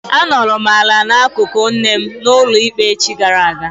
A nọrọ m ala n'akụkụ nne m n'ụlọ ikpe echi gara aga.